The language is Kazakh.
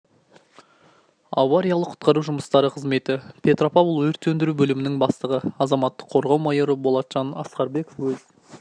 авариялық құтқару жұмыстары қызметі петропавл өрт сөндіру бөлімінің бастығы азаматтық қорғау майоры болатжан асқарбеков өз